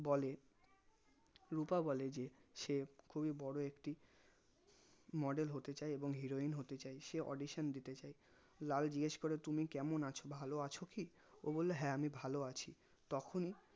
বলে রুপা বলে যে সে খুবই বোরো একটি model হতে চাই এবং heroine হতে চাই সে audition দিতে চাই লাল জিজ্ঞেস করে তুমি কেমন আছো ভালো আছো কি ও বললো হ্যাঁ আমি ভালো আছি তখনি